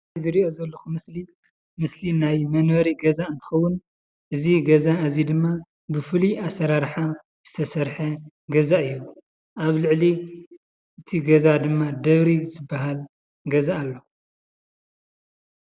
ዝሪኦ ዘለኹ ምስሊ ምስሊ ናይ መንበሪ ገዛ እንትኸዉን እዚ ገዛ እዚ ድማ ብፉሉይ ኣሰራርሓ ዝተሰርሐ ገዛ እዩ። ኣብ ልዕሊ እቲ ገዛ ድማ ደብሪ ዝብሃል ገዛ ኣሎ።